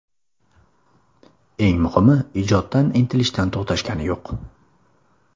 Eng muhimi, ijoddan, intilishdan to‘xtashgani yo‘q.